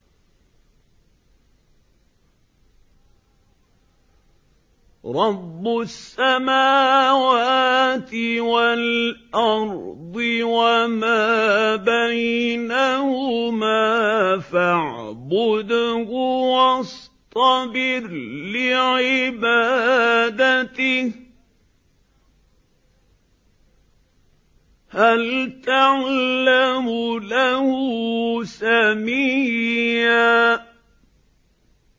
رَّبُّ السَّمَاوَاتِ وَالْأَرْضِ وَمَا بَيْنَهُمَا فَاعْبُدْهُ وَاصْطَبِرْ لِعِبَادَتِهِ ۚ هَلْ تَعْلَمُ لَهُ سَمِيًّا